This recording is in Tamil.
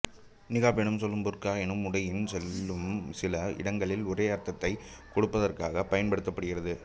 நிகாப் எனும் சொல்லும் புர்கா எனும் உடையின் சொல்லும் சில இடங்களில் ஒரே அர்த்தத்தை கொடுப்பதற்காக பயன்படுத்தப்படுகிறது